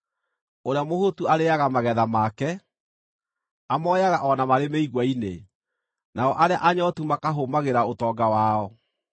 Ũrĩa mũhũtu arĩĩaga magetha make, amoyaga o na marĩ mĩigua-inĩ, nao arĩa anyootu makahũmagĩra ũtonga wao.